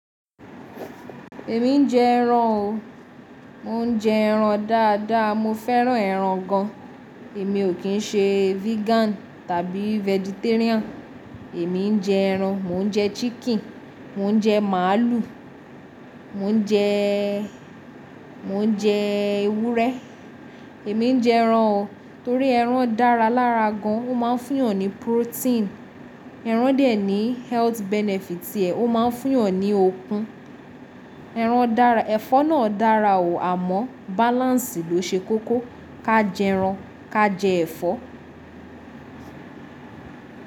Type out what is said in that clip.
Èmi ń jẹ ẹran o. Mo ń jẹ ẹran dáadáa, mo fẹ́ràn ẹran gan. Èmi ò kí ń ṣe vegan tàbí vegetarian. Èmi ń jẹ ẹran, mo ń jẹ chicken, mo ń jẹ màálù, mo ń jẹ, mo ń jẹ ewúrẹ́. Èmi ń jẹ ẹran o, torí ẹran dára lára gan, o máa ń fún yàn ní protein. Ẹran dè ẹ́ ní health benefit tiẹ, o máa ń fún yàn ní okun. Ẹran dára, ẹ̀fọ́ náà dára o, àmọ́ balance ló ṣe kókó. Ka jẹ ẹran, ka jẹ ẹ̀fọ́.